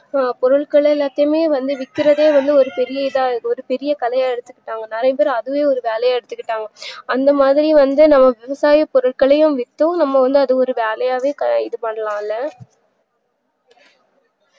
இத்தன பொருட்களையும் சொல்லி விக்கிரதே வந்து ஒரு பெரிய இத இருக்கு இதஒரு கலையா எடுத்துகிட்டாங்க நறைய பேர் அதே ஒரு வேலையா எடுத்திகிட்டங்க அந்த மாரி வந்து விவசாய பொருட்களே வித்து நம்ம வந்து அதுஒரு வேலையாவே இதுபண்ணலாம்ல